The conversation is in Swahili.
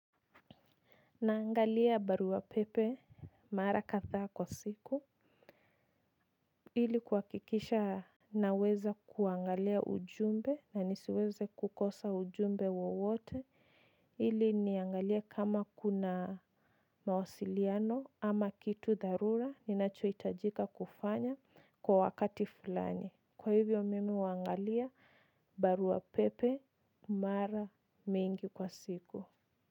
Naangalia barua pepe mara kadhaa kwa siku. Ili kuhakikisha naweza kuangalia ujumbe na nisiweze kukosa ujumbe wowote. Ili niangalie kama kuna mawasiliano ama kitu dharura ninachohitajika kufanya kwa wakati fulani. Kwa hivyo mimi huangalia barua pepe mara mingi kwa siku.